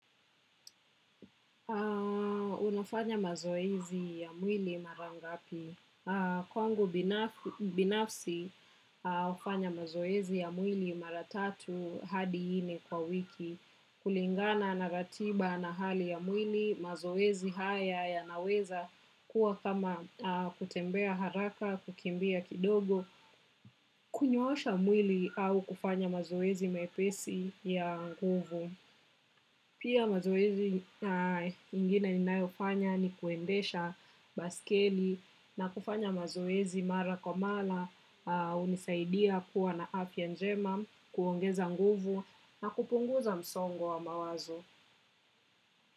Unafanya mazoezi ya mwili mara ngapi. Kwangu binafsi, hufanya mazoezi ya mwili mara tatu hadi nne kwa wiki. Kulingana na ratiba na hali ya mwili, mazoezi haya ya naweza kuwa kama kutembea haraka, kukimbia kidogo, kunyoosha mwili au kufanya mazoezi mepesi ya nguvu. Pia mazoezi ingine ninayofanya ni kuendesha baiskeli na kufanya mazoezi mara kwa mara hunisaidia kuwa na afya njema, kuongeza nguvu na kupunguza msongo wa mawazo.